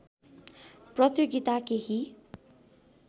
प्रतियोगिता केही